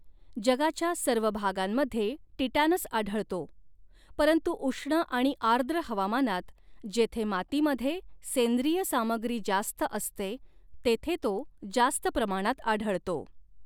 जगाच्या सर्व भागांमध्ये टिटॅनस आढळतो परंतु उष्ण आणि आर्द्र हवामानात, जेथे मातीमध्ये सेंद्रिय सामग्री जास्त असते तेथे तो जास्त प्रमाणात आढळतो.